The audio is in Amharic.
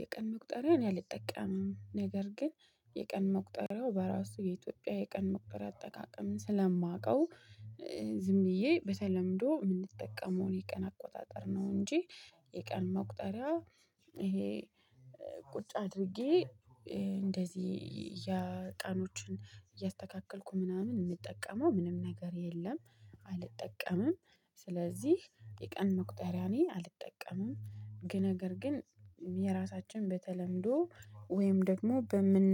የቀን መቁጠሪያ እኔ አልጠቀምም። ነገር ግን የቀን መቁጠሪያው በራሱ የኢትዮጵያ የቀን መቁጠሪያ አጠቃቀምን ስለማውቀው። ዝም ብዬ በተለምዶ ምንጠቀመውን የቀን አቆጣጠር ነው። እንጂ የቀን መቁጠሪያ ይሄ ቁጭ አድርጌ እንደዚህ ያቀኖችን እያስተካከልኩ ምናምን ምጠቀመው ምንም ነገር የለም። አልጠቀምም ስለዚህ የቀን መቁጠሪያ እኔ አልጠቀምም። ነገር ግን የራሳችን በተለምዶ ወይም ደግሞ በምን